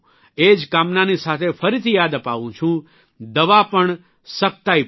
એ જ કામનાની સાથે ફરીથી યાદ અપાવું છું દવા પણ સખ્તાઇ પણ